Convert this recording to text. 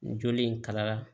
Joli in kala